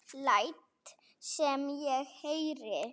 Læt sem ég heyri.